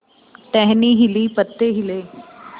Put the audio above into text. टहनी हिली पत्ते हिले